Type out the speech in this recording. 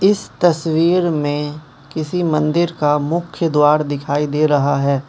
इस तस्वीर में किसी मंदिर का मुख्य द्वार दिखाई दे रहा है।